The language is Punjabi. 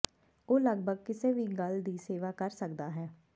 ਉਹ ਲੱਗਭਗ ਕਿਸੇ ਵੀ ਗੱਲ ਦੀ ਸੇਵਾ ਕਰ ਸਕਦਾ ਹੈ